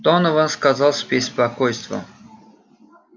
донован сказал с беспокойством